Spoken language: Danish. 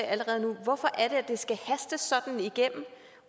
allerede nu hvorfor er det skal hastes sådan igennem